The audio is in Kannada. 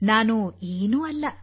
ನಾನು ಏನೂ ಅಲ್ಲ